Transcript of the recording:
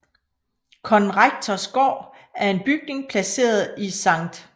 Konrektors Gård er en bygning placeret i Sct